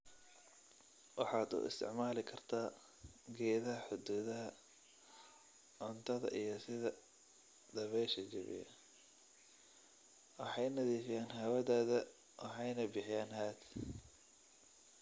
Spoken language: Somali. "Waxaad u isticmaali kartaa geedaha xuduudaha, cuntada iyo sida dabaysha jabiya, waxay nadiifiyaan hawadaada waxayna bixiyaan hadh."